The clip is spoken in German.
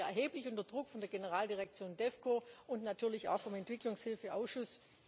Hier standen wir unter erheblichem Druck seitens der Generaldirektion DEVCO und natürlich auch vom Entwicklungshilfeausschuss.